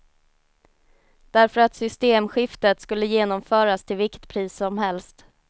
Därför att systemskiftet skulle genomföras till vilket pris som helst.